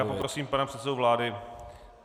Tak já poprosím pana předsedu vlády.